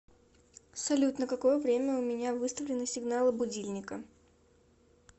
салют на какое время у меня выставлены сигналы будильника